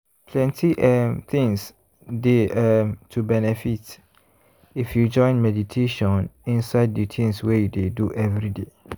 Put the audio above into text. plenty um things dey um to benefit if you join meditation inside de tins wey you dey do everyday.